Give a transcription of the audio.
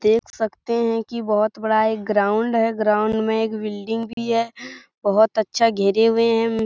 देख सकते हैं की बहुत बड़ा एक ग्राउंड है ग्राउंड में एक बिल्डिंग भी है बहुत अच्छा घेरे हुए हैं ।